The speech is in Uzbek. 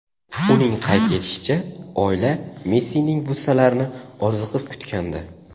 Uning qayd etishicha, oila Messining butsalarini orziqib kutgandi.